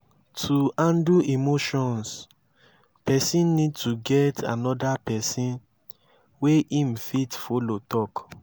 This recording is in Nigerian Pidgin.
to handle emotions person need to get anoda person wey im fit follow talk